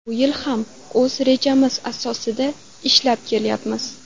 Bu yil ham o‘z rejamiz asosida ishlab kelyapmiz.